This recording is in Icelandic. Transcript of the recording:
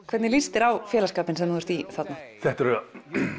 hvernig líst þér á félagsskapinn sem þú ert í þarna þetta eru